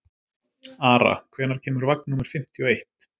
Ara, hvenær kemur vagn númer fimmtíu og eitt?